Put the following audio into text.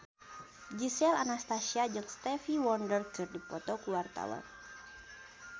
Gisel Anastasia jeung Stevie Wonder keur dipoto ku wartawan